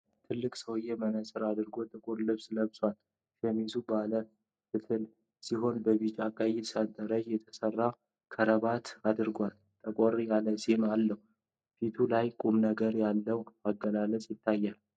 ትልቅ ሰውዬ መነጽር አድርጎ ጥቁር ልብስ ለብሷል። ሸሚዙ ባለ ፈትል ሲሆን በቢጫና ቀይ ሰንጠረዥ የተሠራ ክራቫት አድርጓል። ጠቆር ያለ ፂም አለው፤ ፊቱ ላይ ቁምነገር ያለው አገላለጽ ይታያል።